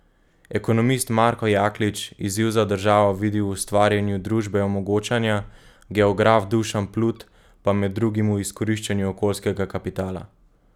Ekonomist Marko Jaklič izziv za državo vidi v ustvarjanju družbe omogočanja, geograf Dušan Plut pa med drugim v izkoriščanju okoljskega kapitala.